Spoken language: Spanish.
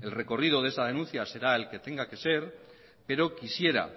el recorrido de esa denuncia será el que tenga que ser pero quisiera